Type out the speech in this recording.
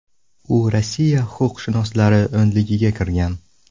U Rossiya huquqshunoslari o‘nligiga kirgan.